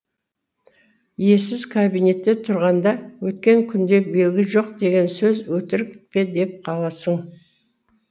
иесіз кабинетте тұрғанда өткен күнде белгі жоқ деген сөз өтірік пе деп қаласың